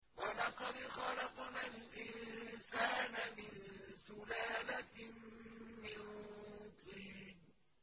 وَلَقَدْ خَلَقْنَا الْإِنسَانَ مِن سُلَالَةٍ مِّن طِينٍ